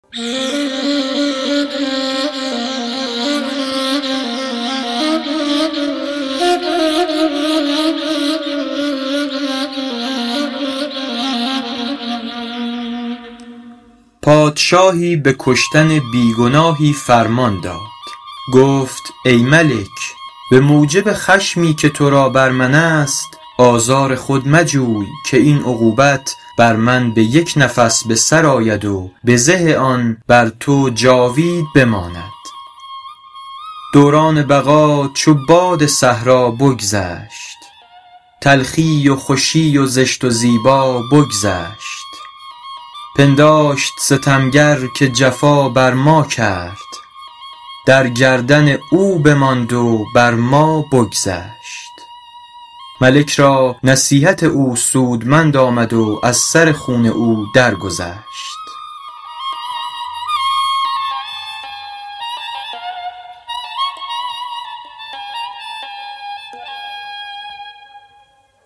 پادشاهی به کشتن بی گناهی فرمان داد گفت ای ملک به موجب خشمی که تو را بر من است آزار خود مجوی که این عقوبت بر من به یک نفس به سر آید و بزه آن بر تو جاوید بماند دوران بقا چو باد صحرا بگذشت تلخی و خوشی و زشت و زیبا بگذشت پنداشت ستمگر که جفا بر ما کرد در گردن او بماند و بر ما بگذشت ملک را نصیحت او سودمند آمد و از سر خون او در گذشت